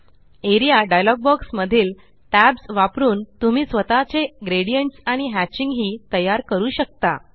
A R E A dialog box मधील tabs वापरून तुम्ही स्वतःचे ग्रेडियंट्स आणि हॅचिंग हि तयार करू शकता